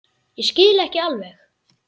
Ég skil ekki alveg